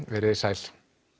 verið þið sæl